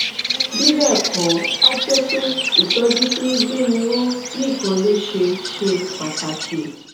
bí bẹẹ kọ a jẹ pé ìtọjú tí ń gbéni ró nìkan ló ṣe ṣe pàtàkì